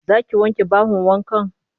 Za ki wanke bahon wankan?